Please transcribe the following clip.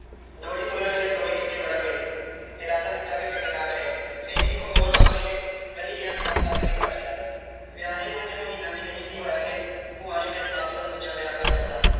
ਡੋਲੀ ਤੁਰਨ ਵੇਲੇ ਦੋਵੇਂ ਨਿੱਕੇ ਬੜਾ ਰੋਏ। ਦਿਲਾਸਾ ਦਿੱਤਾ ਕਿ ਫ਼ਿਕਰ ਨਾ ਕਰਿਓ। ਫਿਰ ਇਕ ਹੋਰ ਨੇ ਰਹਿ ਗਿਆ ਸਾਹ ਤੱਕ ਵੀ ਕੱਢ ਲਿਆ। ਵਿਆਹੀ ਨੂੰ ਅਜੇ ਮਹੀਨਾ ਵੀ ਨਹੀਂ ਸੀ ਹੋਇਆ ਕਿ ਭੂਆ ਨੇ ਮੇਰੇ ਬਾਪ ਦਾ ਦੂਜਾ ਵਿਆਹ ਕਰ ਦਿੱਤਾ।